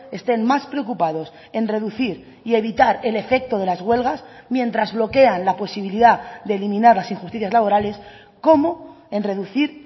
estén más preocupados en reducir y evitar el efecto de las huelgas mientras bloquean la posibilidad de eliminar las injusticias laborales como en reducir